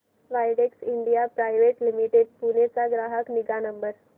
Widex India private limited Pune चा ग्राहक निगा नंबर